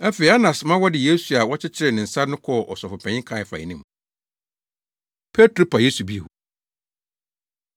Afei, Anas ma wɔde Yesu a wɔakyekyere ne nsa no kɔɔ Ɔsɔfopanyin Kaiafa anim. Petro Pa Yesu Bio